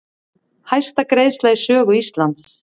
Hæsta greiðsla í sögu Íslands